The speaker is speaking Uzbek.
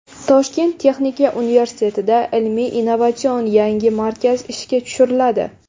Toshkent texnika universitetida ilmiy innovatsion yangi markaz ishga tushiriladi.